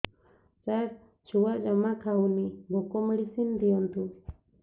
ସାର ଛୁଆ ଜମା ଖାଉନି ଭୋକ ମେଡିସିନ ଦିଅନ୍ତୁ